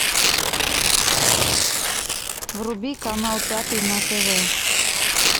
вруби канал пятый на тв